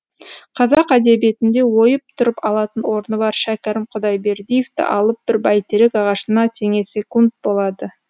қазақ әдебиетінде ойып тұрып алатын орны бар шәкәрім құдайбердиевті алып бір бәйтерек ағашына теңесекунд болады